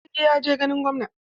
Sarki ya je ganin gwamna.